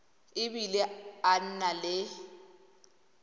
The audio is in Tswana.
e bile a na le